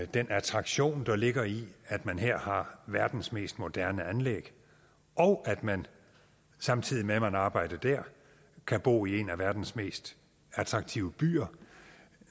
den attraktion der ligger i at man her har verdens mest moderne anlæg og at man samtidig med at man arbejder der kan bo i en af verdens mest attraktive byer